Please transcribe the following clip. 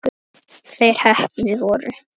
Þeir heppnu voru